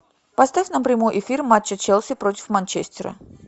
поставь нам прямой эфир матча челси против манчестера